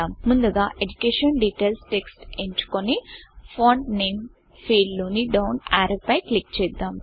ముందుగా education details education details text ఎంచుకొని font name font name field లోని డౌన్ ఆరో పై క్లిక్ చేద్దాం